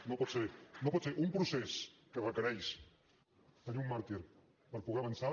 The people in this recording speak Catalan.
no pot ser no pot ser un procés que requereix tenir un màrtir per poder avançar